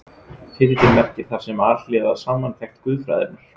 Titillinn merkir þar með Alhliða samantekt guðfræðinnar.